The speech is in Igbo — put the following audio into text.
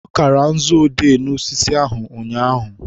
ọ kara nzu odee n'osisi ahụ ụnyaahụ